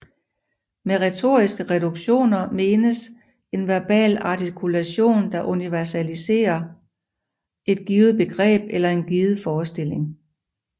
Med retoriske reduktioner menes en verbal artikulation der universaliserer et givet begreb eller en given forestilling